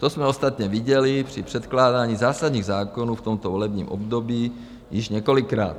To jsme ostatně viděli při předkládání zásadních zákonů v tomto volebním období již několikrát.